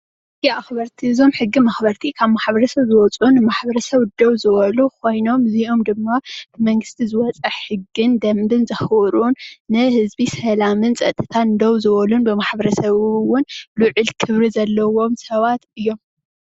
ሕጊ መኽበርቲ እዮም። እዞም ሕጊ መኽበርቲ ካብ ማሕበረሰብ ዝወፁን ብማሕበረሰብ ደው ዝበሉን ኾይኖም እውን ልዑል ክብሪ ዘለዎም እዮም።